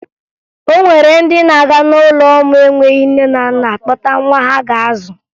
O nwere ndị na-aga n'ụlọ ụmụ enweghi nne na nna akpọta nwa ha ga-azụ